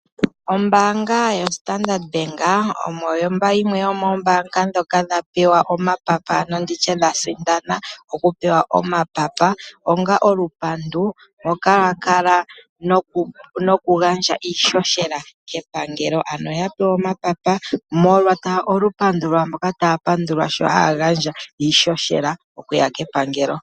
Ombaanga yoStandard Bank oyo yimwe yomombaanga ndhoka dha pewa omapapa nenge ndi tye dhasindana okupewa omapapa onga olupandu mboka yakala nokugandja iihohela kepangelo, ano oya pewa omapapa molwa olupandu lwaamboka taa pandulwa sho haa gandja iihohela okuya kepangelo.